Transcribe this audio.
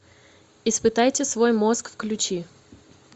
испытайте свой мозг включи